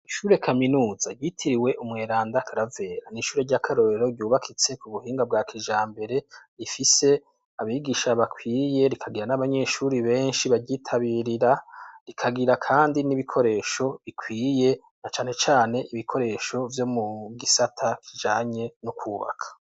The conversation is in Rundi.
Ishure kaminuza yitiriwe umweranda kravera n'ishure ry'a karorero ryubakitse ku buhinga bwa kijambere rifise abigisha bakwiye rikagira n'abanyeshuri benshi baryitabirira rikagira, kandi n'ibikoresho bikwiye na canecane ibikoresho vyo mu gisata kijanye n'ukwubaka.